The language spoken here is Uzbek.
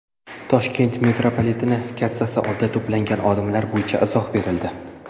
Toshkent metropoliteni kassasi oldida to‘plangan odamlar bo‘yicha izoh berildi.